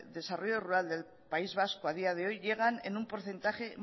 desarrollo rural del país vasco a día de hoy llegan en un porcentaje